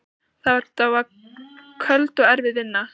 Það var köld og erfið vinna.